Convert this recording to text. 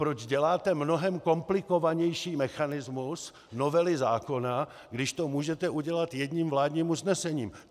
Proč děláte mnohem komplikovanější mechanismus novely zákona, když to můžete udělat jedním vládním usnesením?